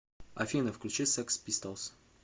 афина включи секс пистолс